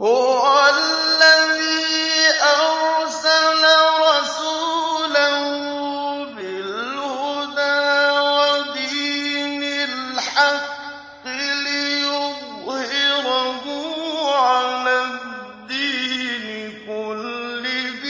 هُوَ الَّذِي أَرْسَلَ رَسُولَهُ بِالْهُدَىٰ وَدِينِ الْحَقِّ لِيُظْهِرَهُ عَلَى الدِّينِ كُلِّهِ